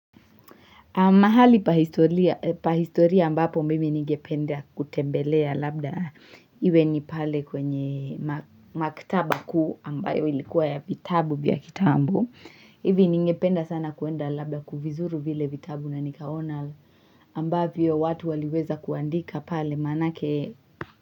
Mahali pa historia ambapo mimi ningependa kutembelea labda iwe ni pale kwenye maktaba kuu ambayo ilikuwa ya vitabu vya kitambo. Hivi ningependa sana kwenda labda kuvizuru vile vitabu na nikaona ambavyo watu waliweza kuandika pale maanake.